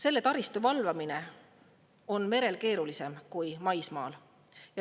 Selle taristu valvamine on merel keerulisem kui maismaal.